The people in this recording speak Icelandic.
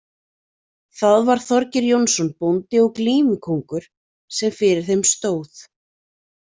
Það var Þorgeir Jónsson, bóndi og glímukóngur, sem fyrir þeim stóð.